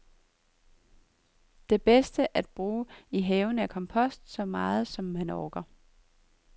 Det bedste at bruge i haven er kompost, så meget, som man orker.